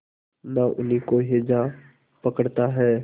न उन्हीं को हैजा पकड़ता है